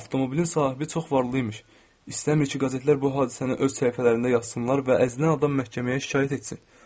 Avtomobilin sahibi çox varlı imiş, istəmir ki, qəzetlər bu hadisəni öz səhifələrində yazsınlar və əzilən adam məhkəməyə şikayət etsin.